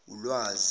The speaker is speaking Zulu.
ulwazi